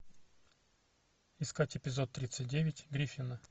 искать эпизод тридцать девять гриффины